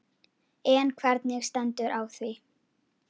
En hvernig stendur á því?